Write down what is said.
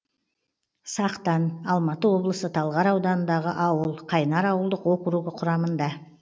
сақтан алматы облысы талғар ауданындағы ауыл қайнар ауылдық округі құрамында